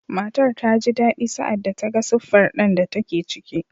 Matar ta ji daɗi sa’ad da ta ga siffar ɗan da take ciki.